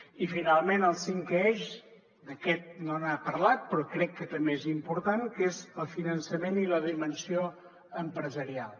i finalment el cinquè eix d’aquest no n’ha parlat però crec que també és important que és el finançament i la dimensió empresarial